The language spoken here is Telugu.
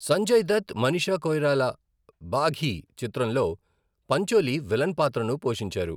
సంజయ్ దత్, మనీషా కొయిరాలా బాఘీ చిత్రంలో పంచోలి విలన్ పాత్రను పోషించారు.